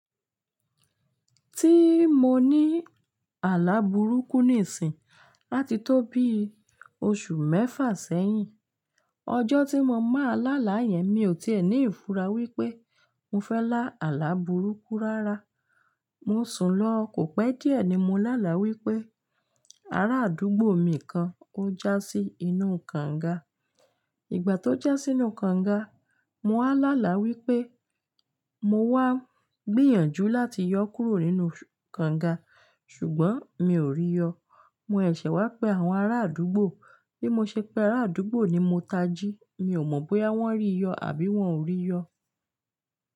Ti mo ni àlà burúkú níìsín ati tó bí oṣù mẹ́fà sẹ́yìn. Ọjọ́ tí mo máa lá là yẹn, mi ò tí è ní ìfura wípé mo fẹ́ lá àlà burúkú rárá. Mo sùn lọ, kò pẹ́ díẹ̀ ni mo lá là wípé ara àdúgbò mi kan o já sí inú kànga. Ìgbà tó já sínú kànga, mo wá lá là wípé mo wá gbìyànjú láti yọ kúrò nínú kànga, ṣùgbọ́n mi ò rí yọ. Mo sèṣè wá pe àwọn ará àdúgbò. Bí mo ṣe pé ará àdúgbò ni mo tají, mi ò mọ̀ bóyá wọ́n rí yọ àbí wọ́n ò rí yọ.